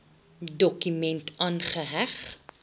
dokument aangeheg